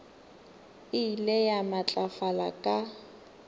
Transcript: e ile ya matlafala ka